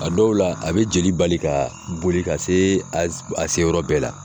A dɔw la, a bɛ jeli bali ka boli ka se a a se yɔrɔ bɛɛ la.